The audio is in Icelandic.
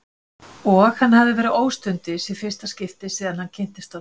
Og hann hafði verið óstundvís í fyrsta skipti síðan hann kynntist honum.